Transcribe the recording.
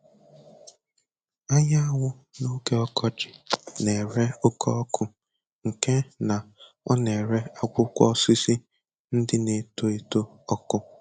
Anyanwụ n'oge ọkọchị na-ere oke ọkụ nke na ọ na-ere akwụkwọ osisi ndị na-eto eto ọkụ